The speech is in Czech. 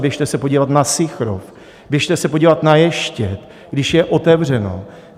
Běžte se podívat na Sychrov, běžte se podívat na Ještěd, když je otevřeno.